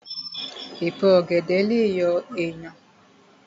Èpo ọ̀gẹ̀dẹ̀ lè yọ èèyàn